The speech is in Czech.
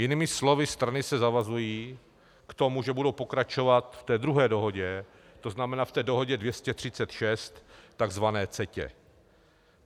Jinými slovy strany se zavazují k tomu, že budou pokračovat v té druhé dohodě, to znamená v té dohodě 236, takzvané CETA.